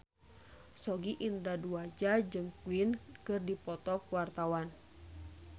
Sogi Indra Duaja jeung Queen keur dipoto ku wartawan